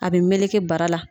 A bɛ meleke bara la.